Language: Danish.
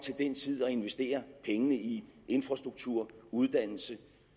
investere pengene i infrastruktur uddannelse og